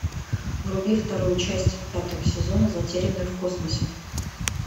вруби вторую часть пятого сезона затерянные в космосе